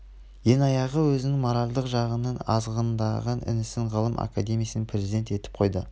ең аяғы өзінің моральдық жағынан азғындаған інісін ғылым академиясының президент етіп қойды